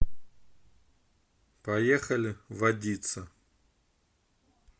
поехали водица